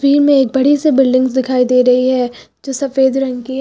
ई में एक बड़ी से बिल्डिंग दिखाई दे रही है जो सफेद रंग की है।